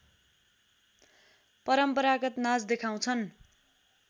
परम्परागत नाच देखाउँछन्